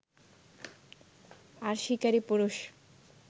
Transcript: আর শিকারী পুরুষ